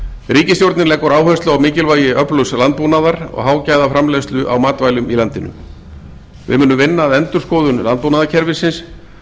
ríkisstjórnin leggur áherslu á mikilvægi öflugs landbúnaðar og hágæðaframleiðslu á matvælum í landinu við munum vinna að endurskoðun landbúnaðarkerfisins